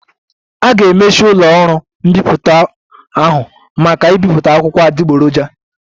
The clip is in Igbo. A ga-emechi ụlọ ọrụ mbipụta ahụ maka ibipụta akụkọ adịgboroja